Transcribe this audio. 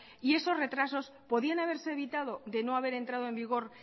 y esos retrasos podían haberse evitado de no haber entrado en vigor